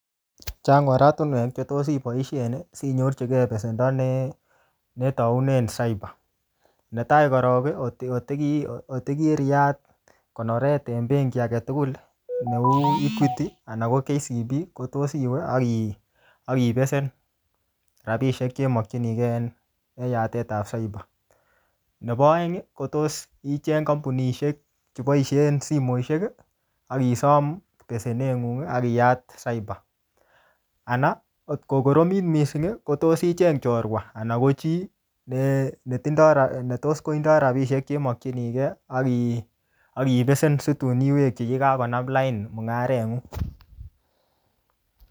Chang oratunwek che tos iboisien, sinyorchikei besendo ne-ne taunen cyber. Ne tai korok, otiki-otiki-otikiriat konoret en benki age tugul, neuu Equity anan ko KCB, ko tos iwe, aki-akibesen rabisiek che imakchinikey en-enyatet ap cyber. Nebo aeng, kotos icheng kampunishek che boisien simoshek, akisom besenet ngung, akiyaat cyber. Anan, ngot ko koromit missing, ko tos icheng chorwa, anan ko chii ne-ne tindoi, ne tos kotindoi rabisiek che imakchinikei aki-akibesen situn iwekchi yekikakonam lain mung'aret ng'ung